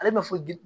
Ale ma fɔ